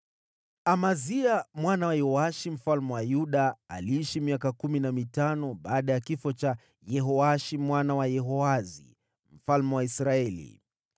Amazia mwana wa Yoashi mfalme wa Yuda aliishi miaka kumi na mitano baada ya kifo cha Yehoashi mwana wa Yehoahazi mfalme wa Israeli.